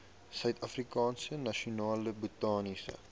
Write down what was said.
suidafrikaanse nasionale botaniese